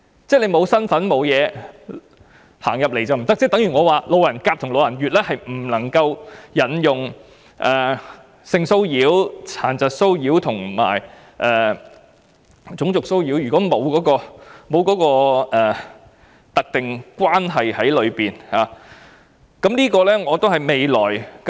即是沒有身份的人並不在保障範圍內，例如路人甲和路人乙便不能夠引用有關性騷擾、殘疾騷擾和種族騷擾的條文，因為兩者之間並沒有特定關係。